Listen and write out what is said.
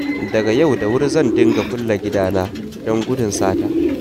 Daga yau da wuri zan dinga kulle gidana, don gudun sata